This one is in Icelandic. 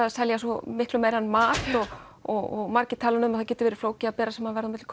að selja svo miklu meira en mat og margir tala um að það geti verið flókið að bera saman verð á milli